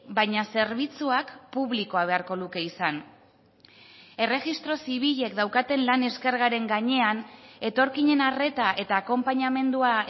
baina zerbitzuak publikoa beharko luke izan erregistro zibilek daukaten lan eskergaren gainean etorkinen arreta eta akonpainamendua